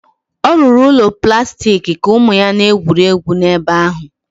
Ọ rụrụ ụlọ plastik ka ụmụ ya na-egwuri egwu n'ebe ahụ